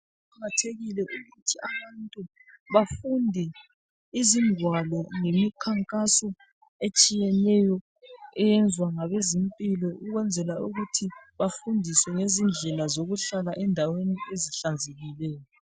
Kuqakathekile kakhulu ukuthi abantu bafunde izingwalo lemikhankaso etshiyeneyo eyezwa ngabezempilo ukuthi bafundiswe ngendela yokuhlala endaweni ezihlanzekileyo.